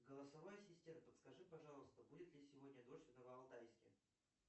голосовой ассистент подскажи пожалуйста будет ли сегодня дождь в новоалтайске